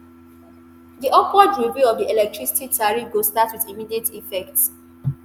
di upward review of di electricity tariff go start wit immediate effect.